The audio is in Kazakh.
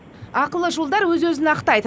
ақылы жолдар өз өзін ақтайды